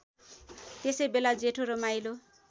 त्यसैबेला जेठो र माहिलो